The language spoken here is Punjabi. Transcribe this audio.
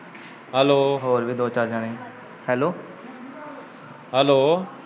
ਹੈਲੋ ਹੋਰ ਵੀ ਦੋ ਚਾਰ ਜਾਣੇ ਹੀ ਹੈਲੋ ਹੈਲੋ